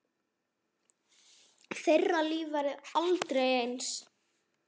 Þeirra líf verður aldrei eins.